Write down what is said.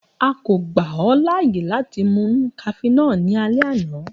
A ko gba ọ laaye lati mu cafenol ni alẹ ana.